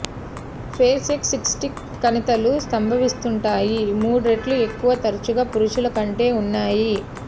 fair sex cystic కణితులు సంభవిస్తుంటాయి మూడు రెట్లు ఎక్కువ తరచుగా పురుషుల కంటే ఉన్నాయి